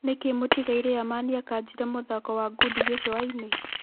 Nĩkĩ mũtigairĩ Amani akanjire mathako ma ngundi gĩcũainĩ ?